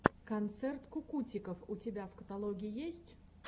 концерт кукутиков у тебя в каталоге есть